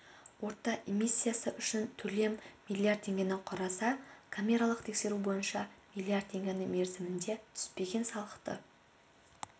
орта эмиссиясы үшін төлем миллиард теңгені құраса камералық тексеру бойынша миллиард теңге мерзімінде түспеген салықты